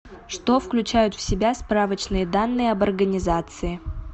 что включают в себя справочные данные об организации